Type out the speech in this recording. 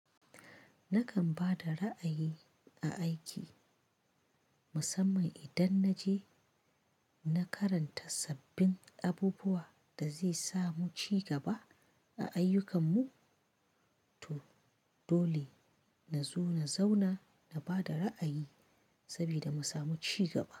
Nakan ba da ra'ayi a aiki musamman idan na je na karanta sabbin abubuwa da zai samu ci gaba a ayyukan mu, to dole na zo na zauna na bada ra'ayi saboda mu samu ci gaba.